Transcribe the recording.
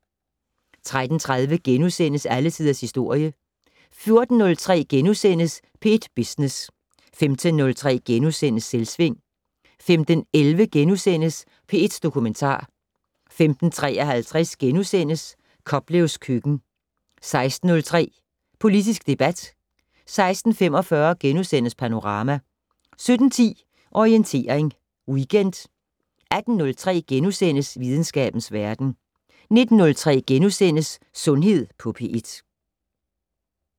13:30: Alle Tiders Historie * 14:03: P1 Business * 15:03: Selvsving * 15:11: P1 Dokumentar * 15:53: Koplevs køkken * 16:03: Politisk debat 16:45: Panorama * 17:10: Orientering Weekend 18:03: Videnskabens Verden * 19:03: Sundhed på P1 *